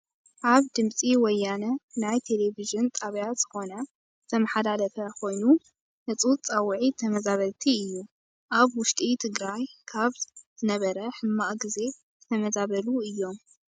ኣብ ድምፂ ወያነ ናይ ቴሌቨን ጣብያ ዝኮነ ዝተመሓላለፈ ኮይኑህፁፅ ፃውዒት ተመዛበልቲ እዩ። ኣብ ውሽጢ ትግራይ ካብ ዝነበረሕማቅ ግዜ ዝተመዛበሉ እዮም።